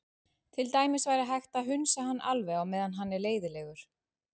Til dæmis væri hægt að hunsa hann alveg á meðan hann er leiðinlegur.